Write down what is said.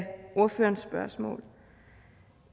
ordførerens spørgsmål